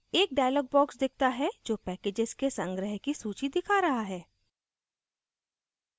एक dialog box दिखता है जो packages के संग्रह की सूची दिखा रहा है